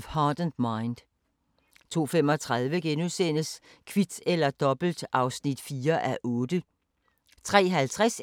03:00: Dicte (10:10) 04:00: Nyhederne og Vejret (søn-tor)